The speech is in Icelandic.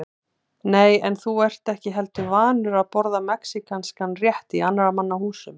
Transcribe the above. Nei, en þú ert ekki heldur vanur að borða mexíkanskan rétt í annarra manna húsum